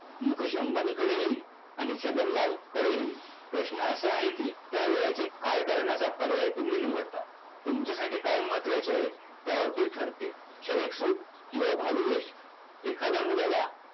मुकेश अंबानी कडेही आणि छगनलाल कडेही प्रश्न असा आहे कि त्या वेळेचे काय करण्याचा पर्याय तुम्ही निवडता. तुमच्यासाठी काय महत्वाचे आहे त्यावर ते ठरते. क्षणिक सुख किंवा भाविवेश